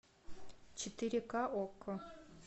четыре ка окко